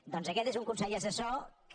doncs aquest és un consell assessor que